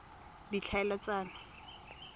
ditlhaeletsano